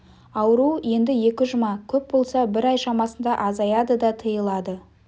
ауру енді екі жұма көп болса бір ай шамасында азаяды да тыйылады